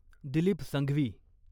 Dilip Sanghvi